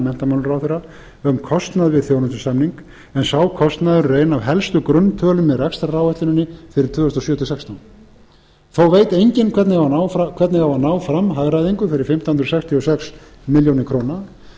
menntamálaráðherra um kostnað við þjónustusamning en sá kostnaður er ein af helstu grunntölum í rekstraráætluninni fyrir tvö þúsund og sjö til tvö þúsund og sextán þó veit enginn hvernig á að ná fram hagræðingu fyrir fimmtán hundruð sextíu og sex milljónir króna